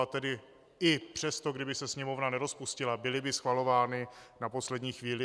A tedy i přesto, kdyby se Sněmovna nerozpustila, byly by schvalovány na poslední chvíli.